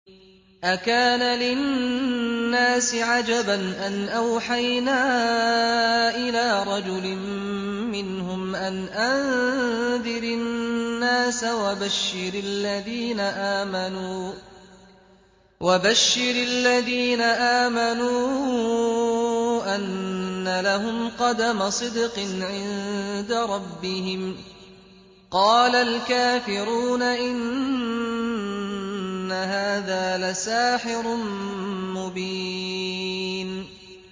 أَكَانَ لِلنَّاسِ عَجَبًا أَنْ أَوْحَيْنَا إِلَىٰ رَجُلٍ مِّنْهُمْ أَنْ أَنذِرِ النَّاسَ وَبَشِّرِ الَّذِينَ آمَنُوا أَنَّ لَهُمْ قَدَمَ صِدْقٍ عِندَ رَبِّهِمْ ۗ قَالَ الْكَافِرُونَ إِنَّ هَٰذَا لَسَاحِرٌ مُّبِينٌ